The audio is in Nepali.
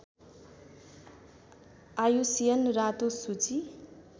आइयुसिएन रातो सूची